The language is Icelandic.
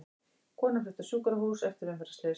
Kona flutt á sjúkrahús eftir umferðarslys